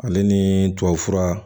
Ale ni tubabufura